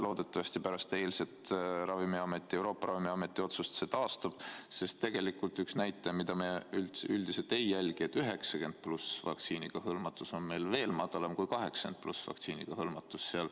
Loodetavasti pärast eilset Euroopa Ravimiameti otsust see taastub, sest tegelikult üks näitaja, mida me üldiselt ei jälgi, on see, et 90+ vanuserühma vaktsineerimisega hõlmatus on meil veel madalam kui 80+ vanuserühma hõlmatus.